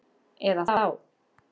Eða þá